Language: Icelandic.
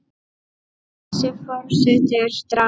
Þessi forseti er drasl!